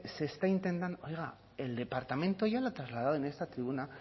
se está intentando oiga el departamento ya lo ha trasladado en esta tribuna